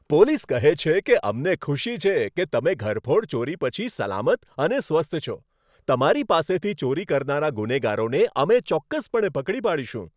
Police કહે છે કે, અમને ખુશી છે કે તમે ઘરફોડ ચોરી પછી સલામત અને સ્વસ્થ છો. તમારી પાસેથી ચોરી કરનારા ગુનેગારોને અમે ચોક્કસપણે પકડી પાડીશું.